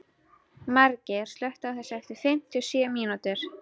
Margeir, slökktu á þessu eftir fimmtíu og sjö mínútur.